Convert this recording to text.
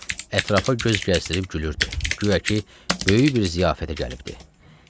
Ətrafa göz gəzdirib gülürdü, guya ki, böyük bir ziyafətə gəlibdi.